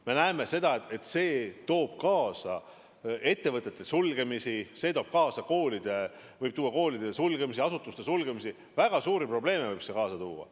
Me näeme, et see toob kaasa ettevõtete sulgemisi, see võib tuua kaasa koolide sulgemisi, asutuste sulgemisi, väga suuri probleeme võib see kaasa tuua.